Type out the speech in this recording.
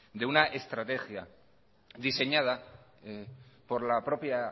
de una estrategia diseñada por la propia